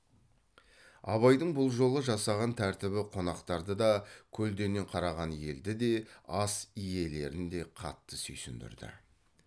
абайдың бұл жолы жасаған тәртібі қонақтарды да көлденең қараған елді де ас иелерін де қатты сүйсіндірді